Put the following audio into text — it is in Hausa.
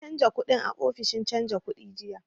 Na canja kuɗin a ofishin canja kuɗi jiya